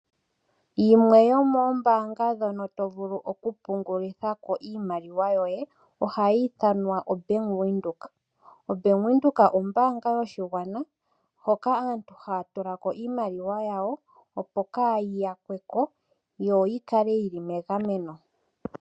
Yimwe yomoombaanga ndhono to vulu oku pungulitha ko iimaliwa yoye ohayi ithanwa oBank Windhoek. OBank Windhoek ombaanga yoshigwana hoka aantu haya tula ko iimaliwa yawo opo kaayi yakwe po, yo yi kale yili megameno.